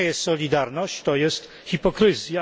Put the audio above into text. To nie jest solidarność, to jest hipokryzja.